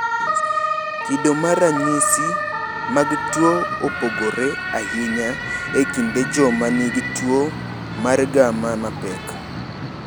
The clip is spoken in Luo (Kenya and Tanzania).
Kido mar ranyisi mag tuo opogore ahinya e kind joma nigi tuo mar gamma mapek.